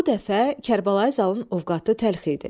Bu dəfə Kərbəlayı Zalın ovqatı təlx idi.